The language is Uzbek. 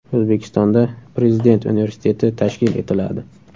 O‘zbekistonda Prezident universiteti tashkil etiladi.